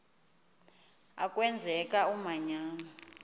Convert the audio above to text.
a kwenzeka umanyano